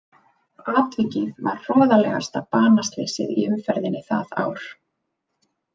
Atvikið var hroðalegasta banaslysið í umferðinni það ár.